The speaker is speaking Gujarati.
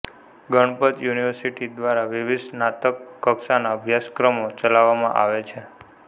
ગણપત યુનિવર્સિટી દ્વારા વિવિધ સ્નાતક કક્ષાના અભ્યાસક્રમો ચલાવવામાં આવે છે